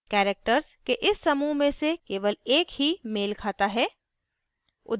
characters के इस समूह में से केवल एक ही मेल खाता है